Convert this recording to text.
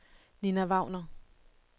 Ninna Wagner